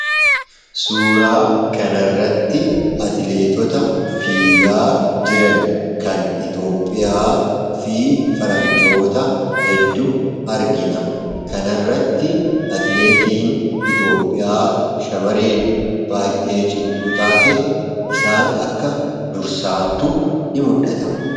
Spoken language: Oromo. suuraa kanarratti atileetota fiigaa jiran kan iitoophiyaa fi faranjootaa heddu argina kanarratti atileetiin iitoophiyaa shamareen baay'ee cimtuu taate isaan akka dursaattu in muldhata